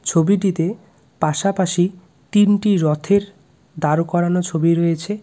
ছবিটিতে পাশপাশি তিনটি রথের দাঁড় করানো ছবি রয়েছে।